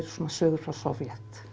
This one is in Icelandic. sögur frá Sovét